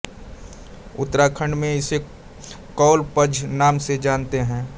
उत्तराखंड में इसे कौल पद्म नाम से जानते हैं